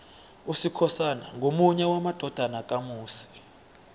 usikhosana ngomunye wamadodana kamusi